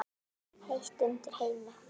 Heitt undir Heimi?